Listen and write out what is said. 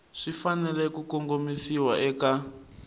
swi fanele ku kongomisiwa eka